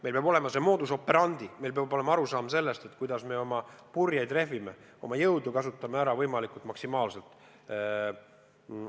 Meil peab olema see modus operandi, meil peab olema arusaam sellest, kuidas me oma purjeid rehvime, oma jõudu võimalikult maksimaalselt ära kasutame.